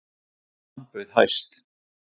Hann bauð hæst.